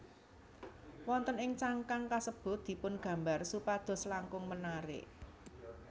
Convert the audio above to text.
Wonten ing cangkang kasebut dipungambar supados langkung menarik